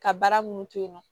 Ka baara munnu to yen nɔ